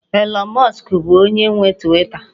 Elon Musk bụ onye nwe Twita